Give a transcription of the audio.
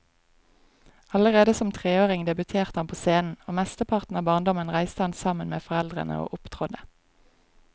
Allerede som treåring debuterte han på scenen, og mesteparten av barndommen reiste han sammen med foreldrene og opptrådte.